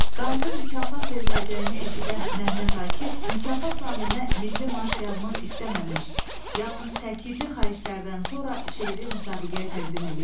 Qalibə mükafat veriləcəyini eşidən Mehmet Akif mükafat naminə milli marş yazmaq istəməmiş, yalnız təkidli xahişlərdən sonra şeiri müsabiqəyə təqdim eləyib.